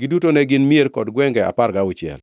Giduto ne gin mier kod gwenge apar gauchiel.